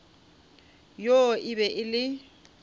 yoo e be e le